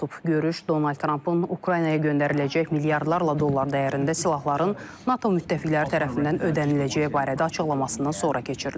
Görüş Donald Trampın Ukraynaya göndəriləcək milyardlarla dollar dəyərində silahların NATO müttəfiqləri tərəfindən ödəniləcəyi barədə açıqlamasından sonra keçirilib.